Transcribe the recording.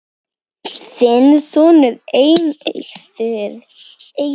Þinn sonur, Eiður.